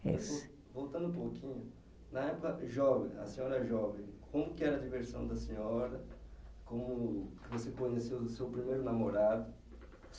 Voltando um pouquinho, na época jovem, a senhora jovem, como que era a diversão da senhora, como que você conheceu o seu primeiro namorado